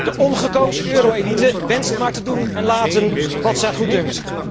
De ongekozen euro elite wenst maar te doen en laten wat haar goeddunkt.